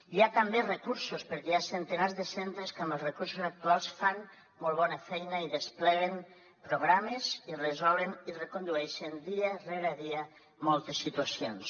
hi ha també recursos perquè hi ha centenars de centres que amb els recursos actuals fan molt bona feina i despleguen programes i resolen i recondueixen dia rere dia moltes situacions